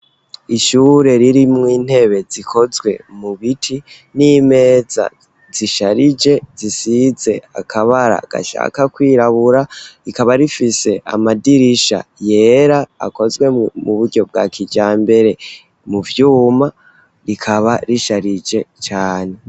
Ishure ririmwo intebe zikozwe mu biti n'imeza zisharije zisize akabara gashaka kwirabura, rikaba rifise amadirisha yera akozwe mu buryo bwa kijyambere mu vyuma, rikaba risharije cane.